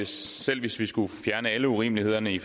selv hvis vi skulle fjerne alle urimelighederne i